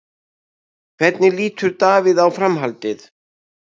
En hvernig lítur Davíð á framhaldið?